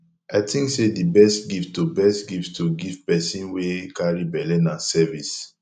i think sey di best gift to best gift to give pesin wey carry belle na service